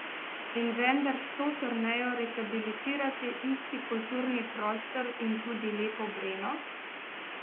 In vendar, s to turnejo rehabilitirate isti kulturni prostor in tudi Lepo Breno?